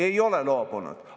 Ei ole loobunud!